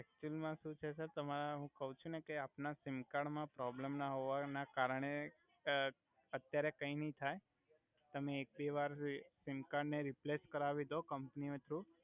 actual મા સુ છે સર તમારે હુ કવ છુ ને સર આપના સિમકાર્ડ મા પ્રોબલમ ના હોવા આ ના કારણે અ અત્યારે કઈ નઈ થઈ તમે એક બે વાર સિમકાર્ડ ને રિપ્લેસ કરાવી દો કમ્પની થ્રુ